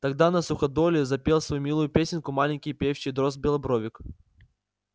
тогда на суходоле запел свою милую песенку маленький певчий дрозд-белобровик